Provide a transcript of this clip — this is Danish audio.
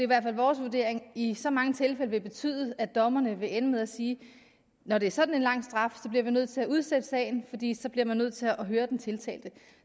hvert fald vores vurdering i så mange tilfælde vil betyde at dommerne vil ende med at sige at når det er sådan en lang straf bliver vi nødt til at udsætte sagen fordi så bliver man nødt til at høre den tiltalte